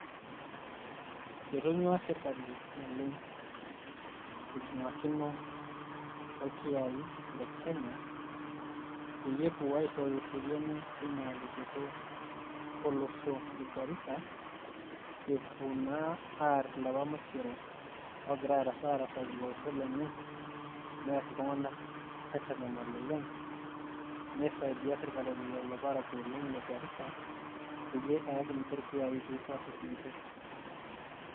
Etoiny'ua sirkali naleng' eibung'akino orkiyaai le Kenya peyie epuo aishooyo eseriani tina luboto olosho le Garisa epuo naa aarr ilapa maisero oogira arasaki ilo osho lenye neer iltung'anak aitanyamal oleng', nisaidia sirkali lelo parakuo oleng' le Garisa peyie eyaki ninche irkiyaai peyie epuoa aarrip ninche.